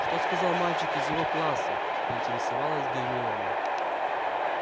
что сказал мальчик из его класса поинтересовалась гермиона